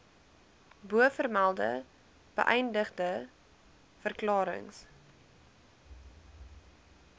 bovermelde beëdigde verklarings